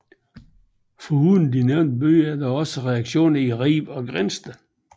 Foruden i de nævnte byer er der også redaktioner i Ribe og Grindsted